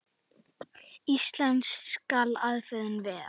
En íslensk skal afurðin vera.